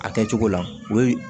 A kɛ cogo la o ye